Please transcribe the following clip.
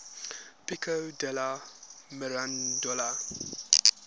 pico della mirandola